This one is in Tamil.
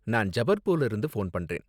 நான் ஜபல்பூர்ல இருந்து போன் பண்றேன்.